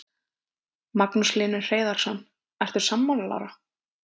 Magnús Hlynur Hreiðarsson: Ertu sammála Lára?